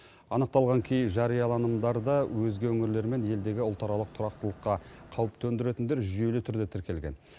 анықталған кей жарияланымдарда өзге өңірлер мен елдегі ұлтаралық тұрақтылыққа қауіп төндіретіндер жүйелі түрде тіркелген